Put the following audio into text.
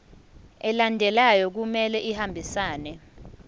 alandelayo kumele ahambisane